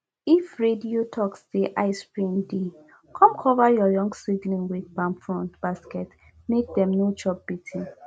if radio talk say icerain dey come cover your young seedling with palm frond basket make dem no chop beating